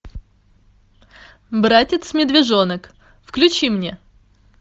братец медвежонок включи мне